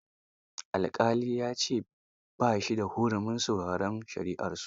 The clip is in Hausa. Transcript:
Alƙali ya ce ba shi da hurumin sauraron shari'arsu.